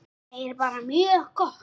Þetta er bara mjög gott.